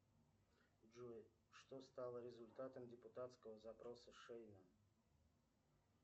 джой что стало результатом депутатского запроса шеина